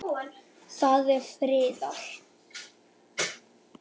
Það er friðað.